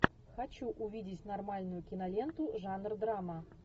хочу увидеть нормальную киноленту жанр драма